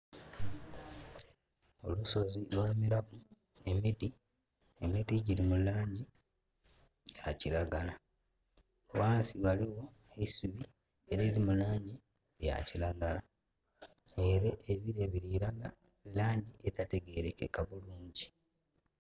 Olusozi lwamelaku emiti, emiti giri mu langi ya kiragala. Ghansi ghaligho eisubi era eliri mu langi ya kiragala. Ere ebire birilaga langi etategerekeka bulungi.